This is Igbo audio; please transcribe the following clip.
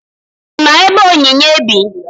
Ị ma ebe Onyinye bi?